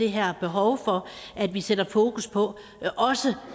her behov for at vi sætter fokus på også